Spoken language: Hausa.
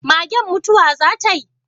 Magen mutuwa za tai?